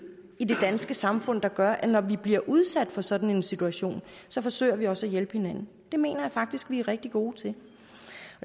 i det danske samfund der gør at når vi bliver udsat for sådan en situation forsøger vi også at hjælpe hinanden det mener jeg faktisk at vi er rigtig gode til